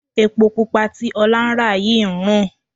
Epo pupa tí Ọlá ń rà yìí ń rùn.